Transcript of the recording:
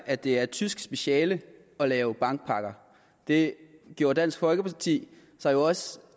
at det er et tysk speciale at lave bankpakker det gjorde dansk folkeparti sig jo også